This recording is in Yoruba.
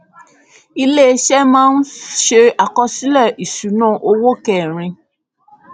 iléeṣẹ máa ń ṣe àkọsílẹ ìṣúnná owó kẹrin